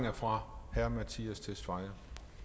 er fra herre mattias tesfaye